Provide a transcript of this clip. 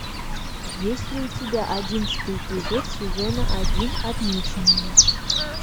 есть ли у тебя одиннадцатый эпизод сезона один отмеченные